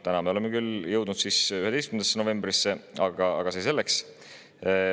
Noh, me oleme küll jõudnud 11. novembrisse, aga see selleks.